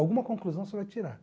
Alguma conclusão você vai tirar.